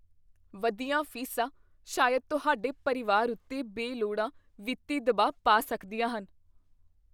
ਵਧੀਆਂ ਫੀਸਾਂ ਸ਼ਾਇਦ ਤੁਹਾਡੇ ਪਰਿਵਾਰ ਉੱਤੇ ਬੇਲੋੜਾ ਵਿੱਤੀ ਦਬਾਅ ਪਾ ਸਕਦੀਆਂ ਹਨ।